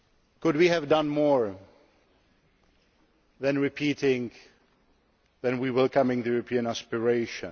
Could we have done more than repeating that we welcome the European aspiration?